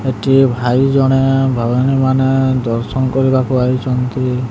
ଏଠି ଭାଇଜଣେ ଭଉଣୀମାନେ ଦର୍ଶନ କରିବାକୁ ଆଇଚନ୍ତି ।